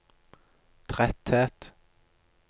tretthet